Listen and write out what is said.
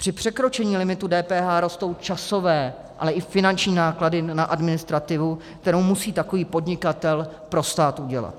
Při překročení limitu DPH rostou časové, ale i finanční náklady na administrativu, kterou musí takový podnikatel pro stát udělat.